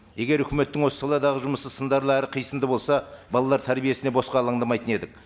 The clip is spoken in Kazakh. егер үкіметтің осы саладағы жұмысы сындарлы әрі қисынды болса балалар тәрбиесіне босқа алаңдамайтын едік